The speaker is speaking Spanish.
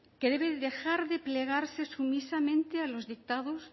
que debe dejar de plegarse sumisamente los dictados